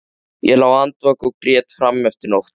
Ég lá andvaka og grét fram eftir nóttu.